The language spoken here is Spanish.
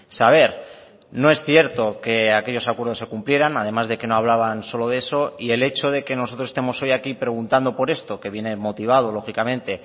saber no es cierto que aquellos acuerdos se cumplieran además de que no hablaban solo de eso y el hecho de que nosotros estemos hoy aquí preguntando por esto que viene motivado lógicamente